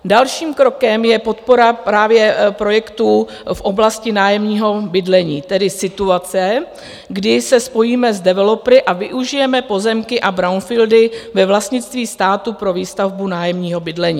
Dalším krokem je podpora právě projektů v oblasti nájemního bydlení, tedy situace, kdy se spojíme s developery a využijeme pozemky a brownfieldy ve vlastnictví státu pro výstavbu nájemního bydlení.